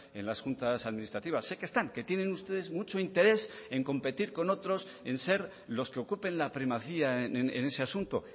en las juntas administrativas sé que están que tienen ustedes mucho interés en competir con otros en ser los que ocupen la primacía en ese asunto